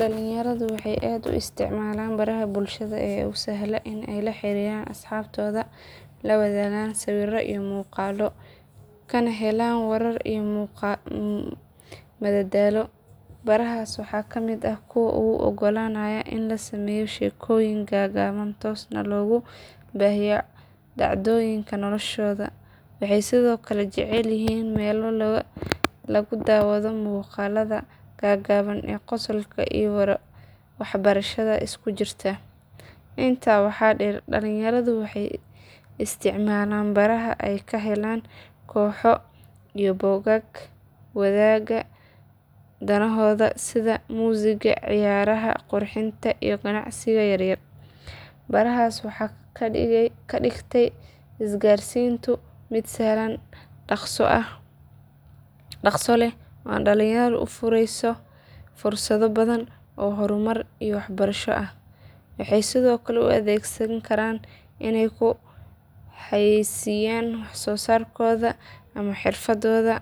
Dhalinyaradu waxay aad u isticmaalaan baraha bulshada ee u sahla inay la xiriiraan asxaabtooda, la wadaagaan sawirro iyo muuqaallo, kana helaan warar iyo madadaalo. Barahaas waxaa ka mid ah kuwa u oggolaanaya in la sameeyo sheekooyin gaaban, toosna loogu baahiyo dhacdooyinka noloshooda. Waxay sidoo kale jecel yihiin meelo lagu daawado muuqaalada gaagaaban ee qosolka iyo waxbarashada isku jira. Intaa waxaa dheer dhalinyaradu waxay isticmaalaan baraha ay ka helaan kooxo iyo bogag wadaaga danahooda sida muusigga, ciyaaraha, qurxinta iyo ganacsiga yaryar. Barahaas waxay ka dhigtay isgaarsiinta mid sahlan, dhaqso leh, oo dhalinyarada u fureysa fursado badan oo horumar iyo waxbarasho ah. Waxay sidoo kale u adeegsan karaan inay ku xayeysiiyaan wax soo saarkooda ama xirfadooda